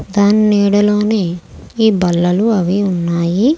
దాని నీడలోనే ఈ బల్లలు అవి ఉన్నాయి.